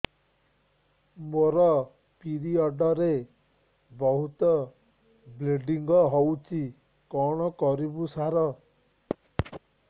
ମୋର ପିରିଅଡ଼ ରେ ବହୁତ ବ୍ଲିଡ଼ିଙ୍ଗ ହଉଚି କଣ କରିବୁ ସାର